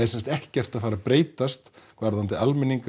sem sagt ekkert að fara að breytast varðandi almenning